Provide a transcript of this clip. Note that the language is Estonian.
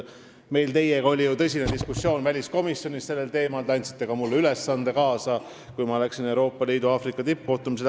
Meil oli ju sellel teemal väliskomisjonis tõsine diskussioon, te andsite mulle ka ülesande kaasa, kui ma läksin Euroopa Liidu ja Aafrika tippkohtumisele.